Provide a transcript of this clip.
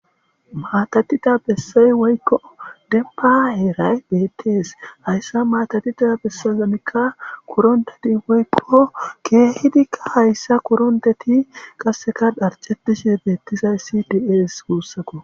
maatatida bessay woykko denpaheray bettees hayssa maatatita bessazanikka kuronteti woykko keehidikka hayssa koronteti qasseka dharcetishe beettizay si dies guussako